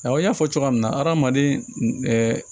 Awɔ n y'a fɔ cogoya min na hadamaden